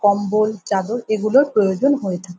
কম্বল চাদর এগুলোর প্রয়োজন হয়ে থাকে ।